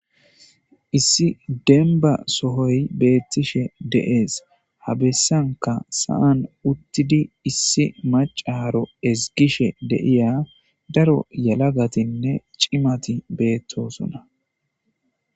Issi denba sohoy beettishe deees ha bessanka saan uttidi issi macaro ezgishe deiya daro yalagatinne cimati beettosona.